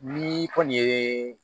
Ni kɔni ye